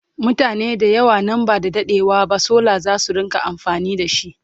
mutane da yawa nan ba da daɗewa ba solar zasu rinka amfani da shi